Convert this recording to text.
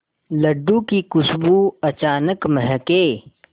लड्डू की खुशबू अचानक महके